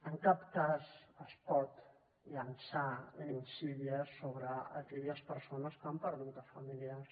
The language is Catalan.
en cap cas es pot llançar insídia sobre aquelles persones que han perdut familiars